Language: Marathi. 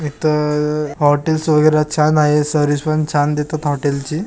इथ हॉटेल्स वगैरा छान आहे सर्विस पण छान देतात हॉटेल ची.